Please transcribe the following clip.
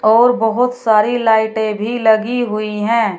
और बहोत सारी लाइटे भी लगी हुई हैं।